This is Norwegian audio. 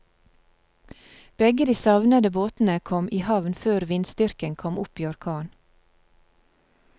Begge de savnede båtene kom i havn før vindstyrken kom opp i orkan.